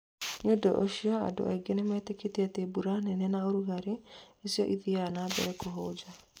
Nĩ ũndũ ũcio, andũ aingĩ nĩ metĩkĩtie atĩ mbura nene na ũrugarĩ nĩcio ithiaga na mbere kũhunja.